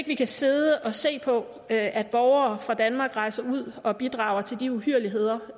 vi kan sidde og se på at borgere fra danmark rejser ud og bidrager til de uhyrligheder